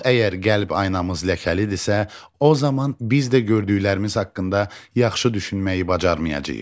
Yox əgər qəlb aynımız ləkəlidirsə, o zaman biz də gördüklərimiz haqqında yaxşı düşünməyi bacarmayacağıq.